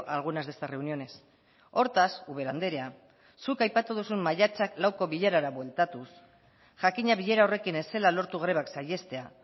a algunas de estas reuniones hortaz ubera andrea zuk aipatu duzun maiatzak lauko bilerara bueltatuz jakina bilera horrekin ez zela lortu grebak saihestea